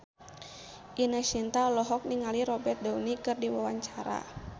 Ine Shintya olohok ningali Robert Downey keur diwawancara